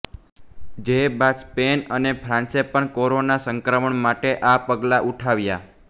જે બાદ સ્પેન અને ફ્રાંસે પણ કોરોના સંક્રમણ માટે આ પગલાં ઉઠાવ્યાં